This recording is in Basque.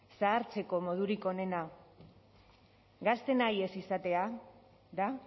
zahartzeko modurik onena gazte nahi ez izatea da